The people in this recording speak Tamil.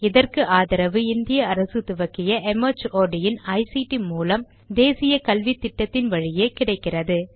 இதற்கு ஆதரவு இந்திய அரசு துவக்கிய ஐசிடி மூலம் தேசிய கல்வித்திட்டத்தின் வழியே கிடைக்கிறது